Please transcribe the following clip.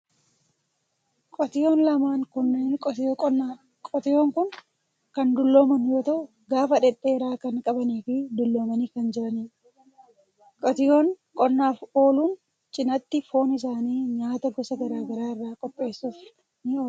Qotiyoon lamaan kunneen qotiyoo qonnaa dha. Qotiyoon kun kan dullooman yoo ta'u, gaafa dhedheeraa kan qabanii fi dulloomanii kan jiranii dha. Qotiyoon qonnaaf ooluun cinaatti foon isaanii nyaata gosa garaa garaa irraa qopheessuuf ni oola.